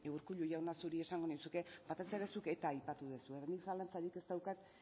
urkullu jauna zuri esango nizuke batez ere zuk eta aipatu duzu orduan nik zalantzarik ez daukat